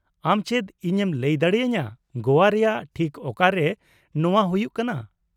ᱟᱢ ᱪᱮᱫ ᱤᱧ ᱮᱢ ᱞᱟᱹᱭ ᱫᱟᱲᱮᱟᱹᱧᱟᱹ ᱜᱚᱣᱟ ᱨᱮᱭᱟᱜ ᱴᱷᱤᱠ ᱚᱠᱟ ᱨᱮ ᱱᱚᱶᱟ ᱦᱩᱭᱩᱜ ᱠᱟᱱᱟ ?